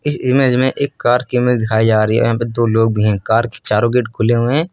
Image में एक car कि इमेज में दिखाई जा रही है पे दो लोग भी है कार की चारों गेट खुले हुए हैं।